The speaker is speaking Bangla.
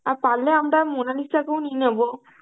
আর পারলে আমরা মোনালিসা কেউ নিয়ে নেব.